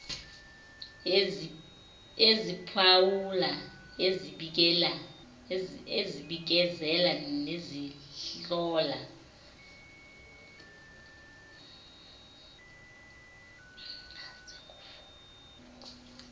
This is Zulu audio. eziphawula ezibikezela nezihlola